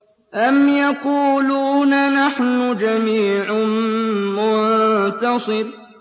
أَمْ يَقُولُونَ نَحْنُ جَمِيعٌ مُّنتَصِرٌ